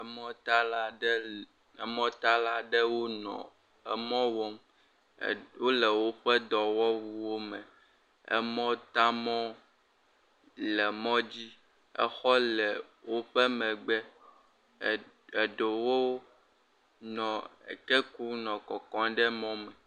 E mɔ ta laãde emɔ tala aɖe wo nɔ e mɔ wɔm, wo le woƒfe dɔwɔwu wo me e mɔ taã mɔ le mɔdzi, xɔ le woƒfe megbe e ɖewo nɔ e ke kum nɔ kɔkɔ ɖe mɔ me.